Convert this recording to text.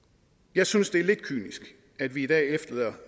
jeg synes det er lidt kynisk at vi i dag efterlader